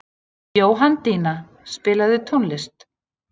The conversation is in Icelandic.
Jóhanndína, spilaðu tónlist.